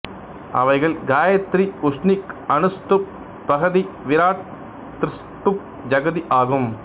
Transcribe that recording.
அவைகள் காயத்திரி உஷ்ணிக் அனுஷ்டுப் பிரஹதி விராட் த்ரிஷ்டுப் ஜகதி ஆகும்